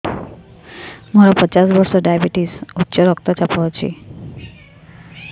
ମୋର ପଚାଶ ବର୍ଷ ଡାଏବେଟିସ ଉଚ୍ଚ ରକ୍ତ ଚାପ ଅଛି